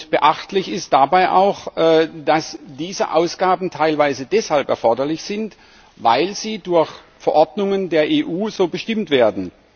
Beachtlich ist dabei auch, dass diese Ausgaben teilweise deshalb erforderlich sind, weil sie durch Verordnungen der EU so bestimmt werden.